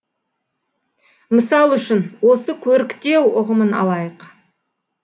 мысал үшін осы көріктеу ұғымын алайық